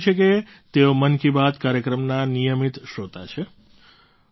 તેમણે લખ્યું છે કે તેઓ મન કી બાત કાર્યક્રમના નિયમિત શ્રોતા છે